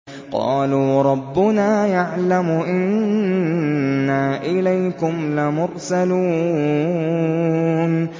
قَالُوا رَبُّنَا يَعْلَمُ إِنَّا إِلَيْكُمْ لَمُرْسَلُونَ